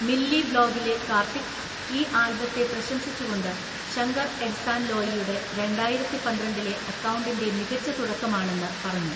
മില്ലിബ്ലോഗിലെ കാർത്തിക്, ഈ ആൽബത്തെ പ്രശംസിച്ചുകൊണ്ട് ശങ്കർ എഹ്സാൻ ലോയിയുടെ രണ്ടായിരത്തിപന്ത്രണ്ടിലെ അക്കൗണ്ടിൻ്റെ മികച്ച തുടക്കമാണെന്ന് പറഞ്ഞു.